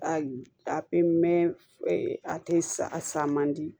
A pemɛn a tɛ sa man di